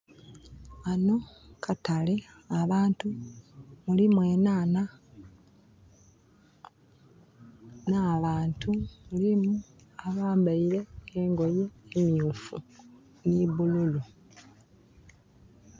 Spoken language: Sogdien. Ghano katale, abantu, mulimu enhanha na bantu, mulimu abambaire engoye emyufu ni bululu